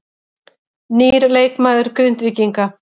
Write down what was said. Nýr leikmaður til Grindvíkinga